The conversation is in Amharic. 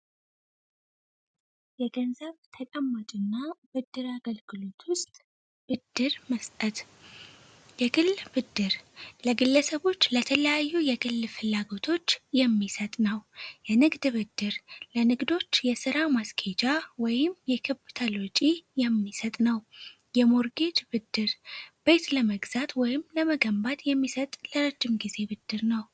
የገንዘብ ተቀመጭ እና ብድር አገልክሎት ውስጥ ብድር መስጠት የግል ብድር ለግለሰቦች ለተለያዩ የግል ፍላጎቶች የሚሰጥ ነው። የንግድ ብድር ለንግዶች የሥራ ማስኬጃ ወይም የክብ ወጪ የሚሰጥ ነው። የሞርጌጅ ብድር ቤት ለመግዛት ወይም ለመገንባት የሚሰጥ ለረድም ጊዜ ብድር ነው።